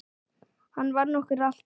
Hann vann okkur alltaf.